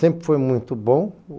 Sempre foi muito bom.